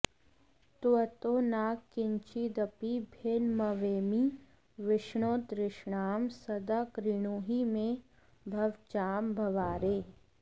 त्वत्तो न किञ्चिदपि भिन्नमवैमि विष्णो तृष्णां सदा कृणुहि मे भवजाम्भवारे